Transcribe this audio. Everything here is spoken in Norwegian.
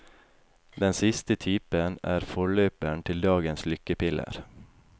Den siste typen er forløperen til dagens lykkepiller.